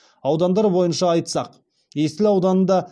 аудандар бойынша айтсақ есіл ауданында